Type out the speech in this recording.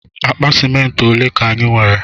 Akpa ciment ọle ka anyi nwere?